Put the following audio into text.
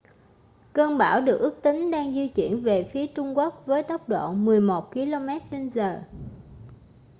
cơn bão được ước tính đang di chuyển về phía trung quốc với vận tốc 11 km/giờ